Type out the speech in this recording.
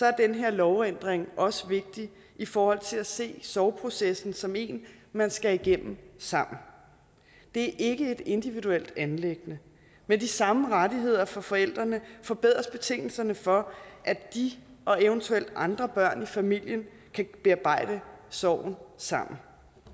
er den her lovændring også vigtig i forhold til at se sorgprocessen som en man skal igennem sammen det er ikke et individuelt anliggende med de samme rettigheder for forældrene forbedres betingelserne for at de og eventuelt andre børn i familien kan bearbejde sorgen sammen